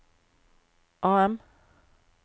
AM